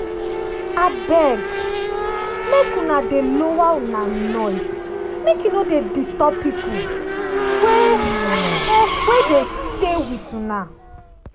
abeg make una dey lower una noise make e no dey disturb pipul wey wey dey stay wit una.